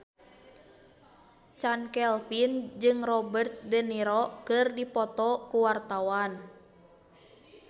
Chand Kelvin jeung Robert de Niro keur dipoto ku wartawan